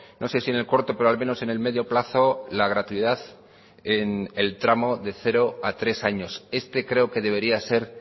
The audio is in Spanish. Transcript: no sé si en el corto pero al menos en el medio plazo la gratuidad en el tramos de cero a tres años este creo que debería ser